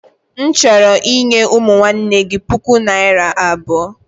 M chọrọ inye ụmụnne gị puku naira abụo.